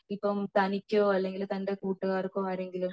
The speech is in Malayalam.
ഇപ്പൊ തനിക്കോ അല്ലെങ്കിൽ തന്റെ കൂട്ടുക്കാർക്കോ ആരെങ്കിലും